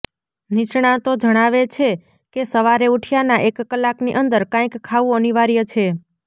નિષ્ણાતો જણાવે છે કે સવારે ઉઠ્યા ના એક કલાકની અંદર કાંઇક ખાવુ અનિવાર્ય છે